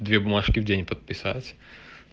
две бумажки в день подписать